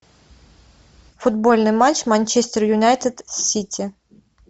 футбольный матч манчестер юнайтед с сити